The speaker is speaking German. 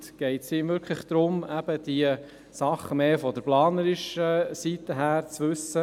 Geht es darum, diese Dinge aus planerischer Sicht zu wissen?